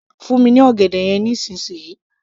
fún mi ní ọ̀gẹ̀dẹ̀ yẹn nísìnsisìyí